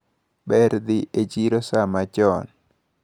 Ber dhi e chiro saa machon.